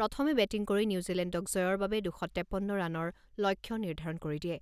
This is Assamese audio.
প্ৰথমে বেটিং কৰি নিউজিলেণ্ডক জয়ৰ বাবে দুশ তেপন্ন ৰানৰ লক্ষ্য নিৰ্ধাৰণ কৰি দিয়ে।